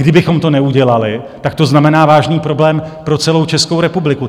Kdybychom to neudělali, tak to znamená vážný problém pro celou Českou republiku.